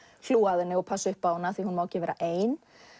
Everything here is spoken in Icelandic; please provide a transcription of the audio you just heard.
hlúa að henni og passa upp á hana því hún má ekki vera ein